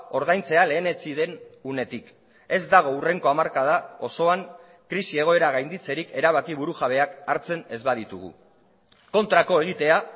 ordaintzea lehenetsi den unetik ez dago hurrengo hamarkada osoan krisi egoera gainditzerik erabaki burujabeak hartzen ez baditugu kontrako egitea